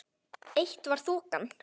Eitt var þokan.